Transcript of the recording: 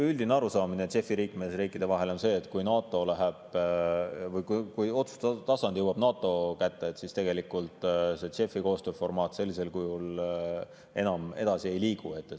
Üldine arusaamine JEF‑i liikmesriikide vahel on see, et kui otsustustasand jõuab NATO kätte, siis tegelikult see JEF‑i koostööformaat sellisel kujul enam edasi ei liigu.